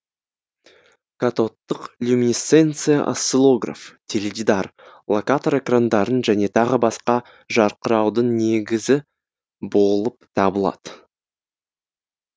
катодтық люминесценция осциллограф теледидар локатор экрандарын және тағы басқа жарқыраудың негізі болып табылады